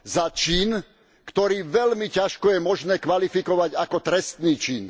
Za čin, ktorý veľmi ťažko je možné kvalifikovať ako trestný čin.